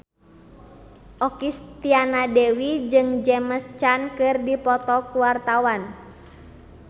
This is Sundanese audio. Okky Setiana Dewi jeung James Caan keur dipoto ku wartawan